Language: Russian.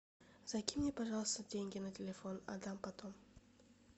закинь мне пожалуйста деньги на телефон отдам потом